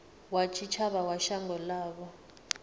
wa tshitshavha wa shango ḽavho